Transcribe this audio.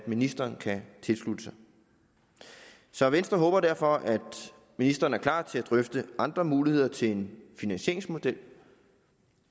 ministeren kan tilslutte sig så venstre håber derfor at ministeren er klar til at drøfte andre muligheder til en finansieringsmodel